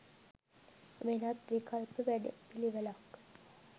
වෙනත් විකල්ප වැඩ පිළිවෙලක්